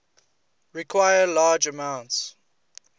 require large amounts